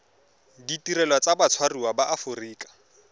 ditirelo tsa batshwariwa ba aforika